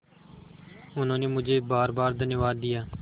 उन्होंने मुझे बारबार धन्यवाद दिया